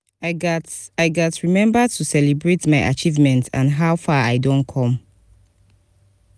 i gats i gats remember to celebrate my achievements and how far i don come.